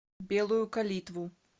белую калитву